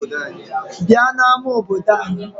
Bịa n'ama obodo anyị!